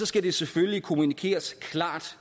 skal det selvfølgelig kommunikeres klart